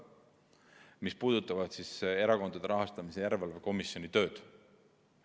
Need puudutavad Erakondade Rahastamise Järelevalve Komisjoni tööd.